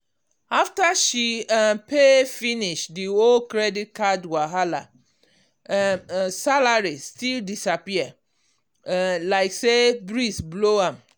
after she um pay finish the whole credit card wahala um salary still disappear um like say breeze blow am.